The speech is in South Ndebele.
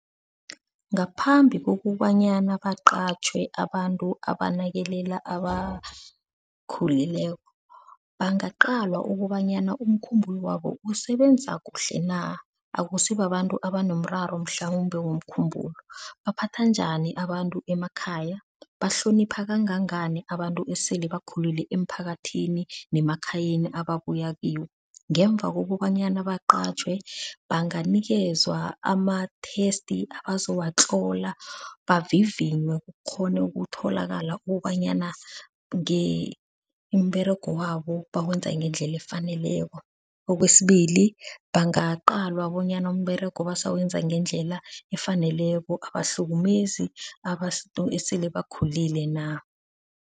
Ngaphambi kokobanyana baqatjhwe abantu abanakelela abakhulileko, bangaqalwa ukobanyana umkhumbulwabo usebenza kuhle na? Akusi babantu abanomraro mhlawumbe womkhumbulo. Baphatha njani abantu emakhaya? Bahlonipha kangangani abantu esele bakhulile emphakathini nemakhayeni ababuya kiwo? Ngemva kokobanyana baqatjhwe banganikelwa ama-test abazowatlola, bavivinywe kukghone ukutholakala ukobanyana umberego wabo bawenza ngendlela efaneleko. Kwesibili, bangaqalwa bonyana umberego basawebenza ngendlela efaneleko, abahlukumezi abantu esele bakhulile na?